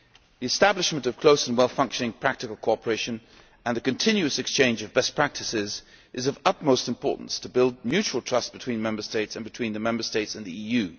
The establishment of close and well functioning practical cooperation and the continuous exchange of best practices is of utmost importance to build mutual trust between Member States and between the Member States and the EU.